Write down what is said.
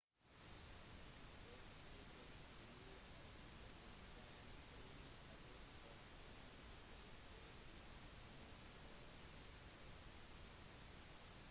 rettssaken ble avsluttet den 3. august og fant sted ved birmingham crown court